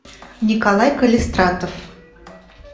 николай калистратов